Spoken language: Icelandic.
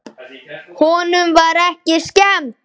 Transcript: Honum var ekki skemmt!